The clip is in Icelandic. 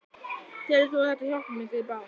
Telur þú að þetta hjálpi mikið í baráttunni?